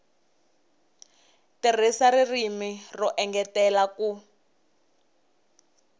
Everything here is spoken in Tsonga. tirhisa ririmi ro engetela ku